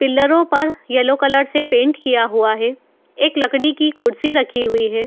पिल्लरो पर yellow colour से paint किया हुआ हैं। एक लकड़ी की कुर्सी रखी हुई है।